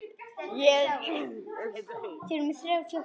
Ég verð að hlaupa heim.